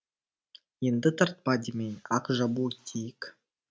енді тартпа демей ақ жабу дейік